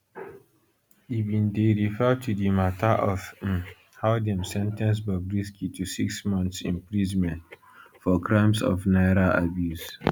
e bin dey refer to di mata of um how dem sen ten ce bobrisky to six months imprisonment for crimes of naira abuse